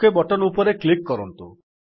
okay button ଉପରେ click କରନ୍ତୁ